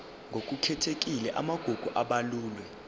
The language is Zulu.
ngokukhethekile amagugu abalulwe